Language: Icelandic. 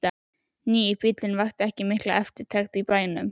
Nýi bíllinn vakti mikla eftirtekt í bænum.